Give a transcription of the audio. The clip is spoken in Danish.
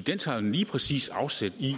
den tager jo lige præcis afsæt i